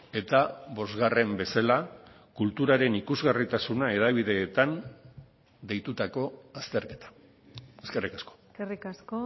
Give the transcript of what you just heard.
eta bosgarren bezala kulturaren ikusgarritasuna hedabideetan deitutako azterketa eskerrik asko eskerrik asko